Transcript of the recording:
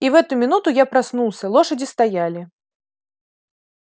и в эту минуту я проснулся лошади стояли